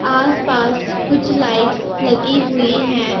आस पास कुछ लाइट्स लगी हुई हैं।